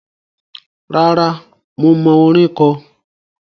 Rárá, mo mọ orin kọ.